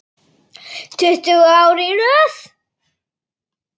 Tuttugu ár í röð.